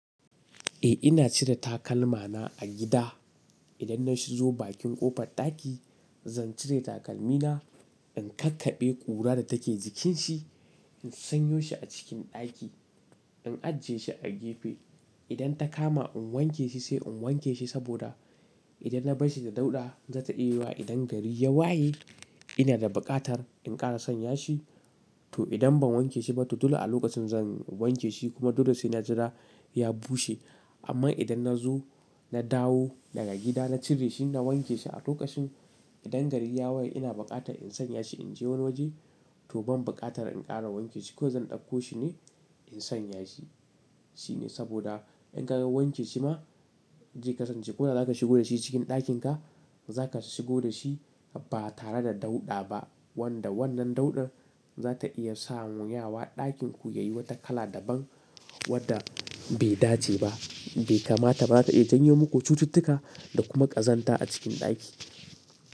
Eh ina cire takalma na a gida. Idan na zo bakin ƙofar ɗaki, zan cire takalmi na, in kakkaɓe ƙura da take jikin shi, in sanyo shi a cikin ɗaki, in ajiye shi a gefe. Idan ta kama in wanke shi sai in wanke shi saboda idan na bar shi da dauɗa, za ta iya yuwuwa idan gari ya waye. Ina da buƙatar in ƙara sanya shi. To idan ban wanke shi ba to dole a lokacin zan wanke shi kuma dole sai na jira ya bushe. Amma idan na zo, na dawo daga gida, na cire shi, na wanke shi a lokacin. Idan gari ya waye ina buƙatar in sanya shi, in je wani waje to ban buƙatar in ƙara wanke shi kawai zan ɗauko shi ne in sanya shi. Shine saboda in ka wanke shi ma zai kasance ko da zaka shigo da shi cikin ɗakin ka, za ka shigo da shi ba tare da dauɗa ba wanda wannan dauɗar za ta iya sanyawa ɗakin ku ya yi wata kala daban wadda bai dace ba, bai kamata ba. Za ta iya janyo muku cututtuka da kuma ƙazanta a cikin ɗaki.